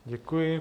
Děkuji.